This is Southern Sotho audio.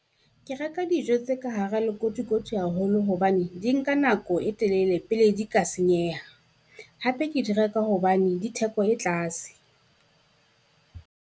Ke reka dijo tse ka hara le kotikoti haholo hobane di nka nako e telele pele di ka senyeha, hape ke di reka hobane di theko e tlase.